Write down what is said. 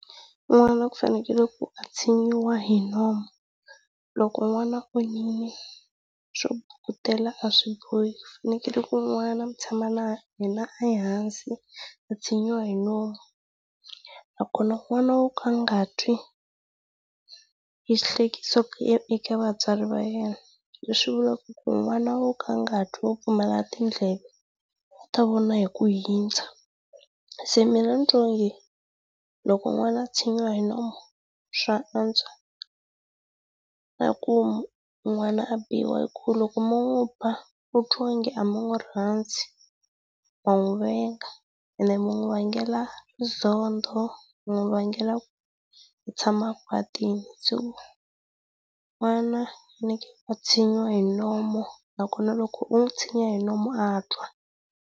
N'wana ku fanekele ku atshinyiwa hi nomu, loko n'wana swo bukutela a swi bohi. Ku fanekele ku n'wana mu tshama na yena ehansi a tshinyiwa hi nomu. Nakona n'wana wo ka a nga twi i xihlekiso e eka vatswari va yena, leswi vulaka ku n'wana wo ka a nga twi wo pfumala tindleve u ta vona hi ku hundza. Se mina ndzi twa onge, loko n'wana a tshinyiwa hi nomu swa antswa ka ku n'wana a biwa hi ku loko mo n'wi ba u twa ingi a mi n'wi rhandzi, ma n'wi venga ene mi n'wi vange nzondo, mi n'wi vangela ku tshama a kwatile so, n'wana ku faneleke a tshinyiwa hi nomu nakona loko u n'wi tshinya hi nomu a twa.